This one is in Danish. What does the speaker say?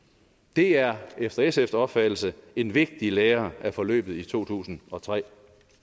det er efter sfs opfattelse en vigtig lære af forløbet i to tusind og tre